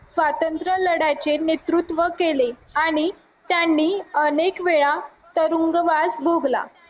स्वातंत्र्यलढ्याचे नेतृत्व केले आणि त्यांनी अनेक वेळा तुरुंगवास भोगला